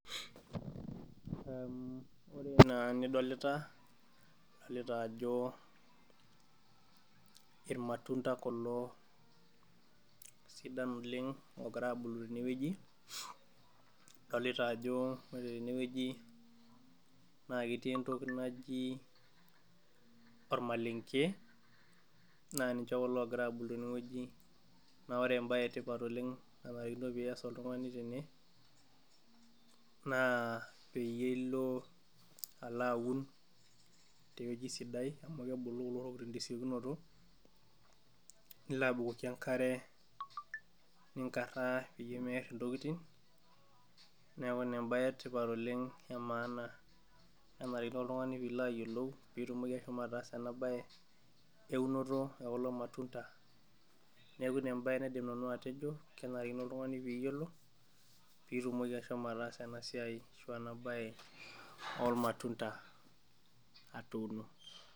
Naa nidolita, idolita a jo ilmatunda kulo sidan oleng, oogira abulu tene wueji, idolta Ajo ore tene wueji na ketii entoki naji olmalenke naa ninche kulo ogira abulu tene wueji naa ore ebae etipat oleng naanarikino pee iyas oltungani tene, naa peyie ilo alo aun te wueji sidai, amu kebulu kulo tokitin tesiokinoto, ilo abukoki enkare, ninkaraa peyie meer intokitin neeku I a ebae etipat oleng, naanarikino oltungani pee itumoki ashomo ataasa ena bae eunoto ekulo matundai, neeku Ina ebae naidim nanu atejo kenarikino, oltungani pee iyiolo pee itumoki ashomo ataasa ena siai ashu ena bae e olmatunda, atuuno.